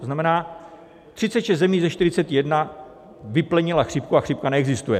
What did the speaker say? To znamená, 36 zemí ze 41 vyplenilo chřipku a chřipka neexistuje.